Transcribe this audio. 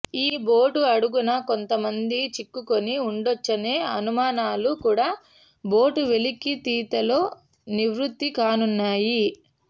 ఈ బోటు అడుగున కొంత మంది చిక్కుకుని ఉండొచ్చనే అనుమానాలు కూడా బోటు వెలికి తీతతో నివృత్తి కానున్నాయి